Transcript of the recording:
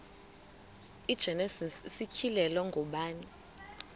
igenesis isityhilelo ngubani